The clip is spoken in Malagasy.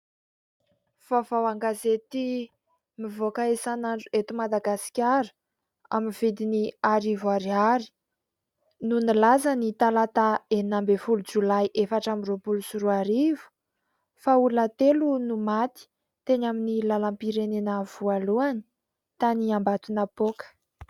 Vaovao an-gazety mivoaka isan'andro eto Madagasikara : amin'ny vidin'ny arivo ariary no nilaza ny talata, enina ambin'ny folo, jolay, efatra amby roapolo sy roa arivo fa "Olona telo no maty teny amin'ny lalam-pirenena voalohany tany Ambatonapoaka."